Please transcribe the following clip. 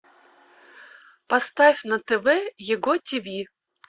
поставь на тв его тв